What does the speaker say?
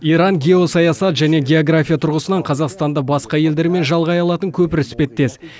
иран геосаясат және география тұрғысынан қазақстанды басқа елдермен жалғай алатын көпір іспеттес